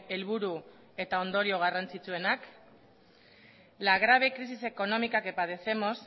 helburu eta ondorio garrantzitsuenak la grave crisis económica que padecemos